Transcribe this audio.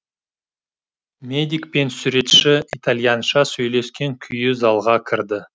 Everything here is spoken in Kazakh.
медик пен суретші итальянша сөйлескен күйі залға кірді